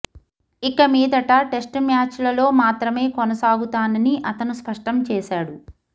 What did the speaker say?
ఇక మీదట టెస్టు మ్యాచ్లలో మాత్రమే కొనసాగుతానని అతను స్పష్టం చేశాడు